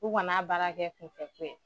U kan'a baara kɛ kunfɛ ko ye